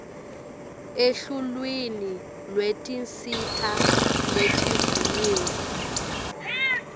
eluhlwini lwetinsita letivunyiwe